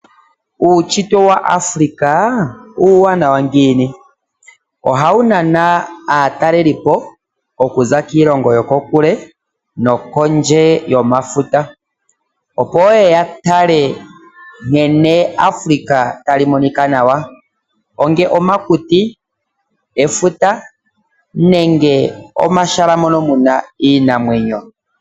Uushitwe wAfrica uuwanaw ngiini ohawu nana aatalelipo okuza kiilongo yokondje yomafuta yeye ya tale nkene Africa tali monika nawa onge omakuti efuta nenge omashala mono muna iinamwenyo.